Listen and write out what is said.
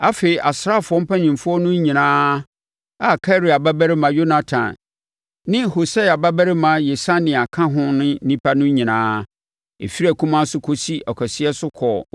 Afei, asraafoɔ mpanimfoɔ no nyinaa a Karea babarima Yohanan ne Hosaia babarima Yesania ka ho ne nnipa no nyinaa, ɛfiri akumaa so kɔsi ɔkɛseɛ so kɔɔ